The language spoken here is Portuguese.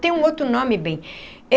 Tem um outro nome bem.